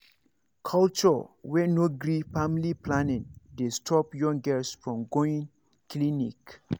culture culture wey no gree family planning dey stop young girls from going clinic